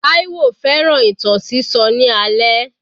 Taiwo fẹ́ràn ìtàn sísọ ní alẹ́.